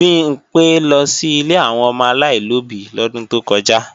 Bimpé lọ sí ilé àwọn ọmọ aláìlóbí lọ́dún tó kọjá